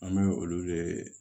An bɛ olu de